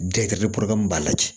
Den kɛrɛ b'a la